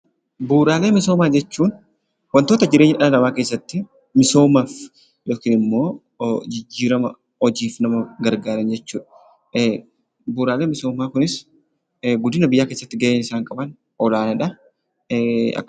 Bu'uuraalee misoomaa jechuun waantota jireenya dhala namaa keessatti misoomaaf yookiin immoo jijjiirama hojiif nama gargaaran jechuudha. Bu'uuraalee misoomaa kunis guddina biyyaa keessatti gaheen isaan qaban olaanaadha.